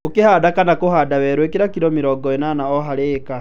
Ũkĩhanda kana kũhanda werũ, ĩkĩra kilo mĩrongo ĩnana o harĩ ĩka